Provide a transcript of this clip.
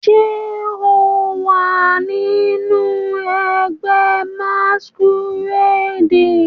Ṣe o wa ninu ẹgbẹ masquerade?